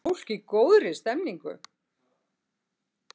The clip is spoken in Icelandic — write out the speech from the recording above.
Fólk í góðri stemningu!